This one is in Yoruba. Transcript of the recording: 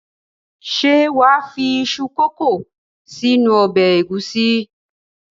Ṣé wà á fi iṣu kòkó sínú ọbẹ̀ ẹ̀gúsí?